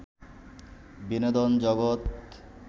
বিনোদন জগত